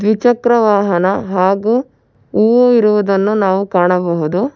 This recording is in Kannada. ದ್ವಿಚಕ್ರ ವಾಹನ ಹಾಗು ಹೂವು ಇರುವುದನ್ನು ನಾವು ಕಾಣಬಹುದು.